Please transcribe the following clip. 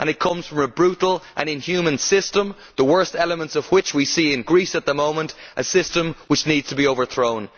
it comes from a brutal and inhuman system, the worst elements of which we see in Greece at the moment a system which needs to be overthrown.